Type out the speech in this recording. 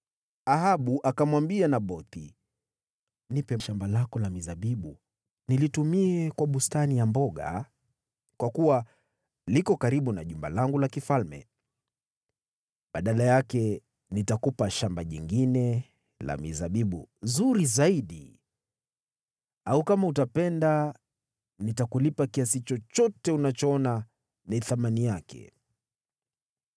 Ahabu akamwambia Nabothi, “Nipe shamba lako la mizabibu nilitumie kwa bustani ya mboga, kwa kuwa liko karibu na jumba langu la kifalme. Badala yake, nitakupa shamba jingine la mizabibu zuri zaidi au, kama utapenda, nitakulipa kiasi chochote unachoona ni thamani yake.”